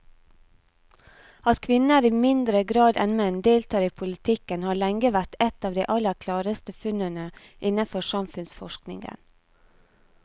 At kvinner i mindre grad enn menn deltar i politikken har lenge vært et av de aller klareste funnene innenfor samfunnsforskningen.